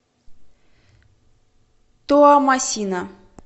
туамасина